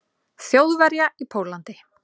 Þjóðverja í Pólland.